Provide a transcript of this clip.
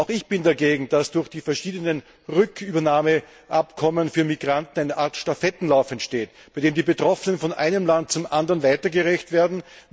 Auch ich bin dagegen, dass durch die verschiedenen Rückübernahmeabkommen für Migranten eine Art Stafettenlauf entsteht, bei dem die Betroffenen von einem Land zum anderen weitergereicht werden.